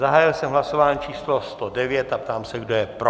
Zahájil jsem hlasování číslo 109 a ptám se, kdo je pro?